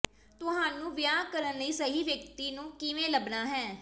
ਤੁਹਾਨੂੰ ਵਿਆਹ ਕਰਨ ਲਈ ਸਹੀ ਵਿਅਕਤੀ ਨੂੰ ਕਿਵੇਂ ਲੱਭਣਾ ਹੈ